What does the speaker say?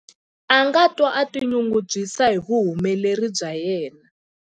A nga twa a tinyungubyisa hi vuhumeleri bya yena.